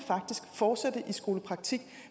fortsætte i skolepraktik